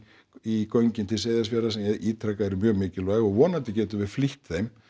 í göngin til Seyðisfjarðar sem ég ítreka að eru mjög mikilvæg og vonandi getum við flýtt þeim